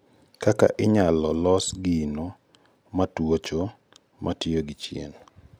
Kaka inyalo los gino matuocho matiyo gi chieng'